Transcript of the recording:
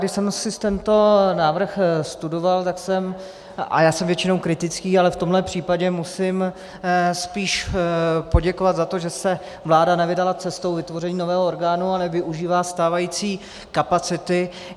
Když jsem si tento návrh studoval, tak jsem - a já jsem většinou kritický, ale v tomhle případě musím spíš poděkovat za to, že se vláda nevydala cestou vytvoření nového orgánu a nevyužívá stávající kapacity.